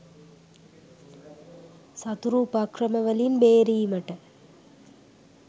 සතුරු උපක්‍රමවලින් බේරීමට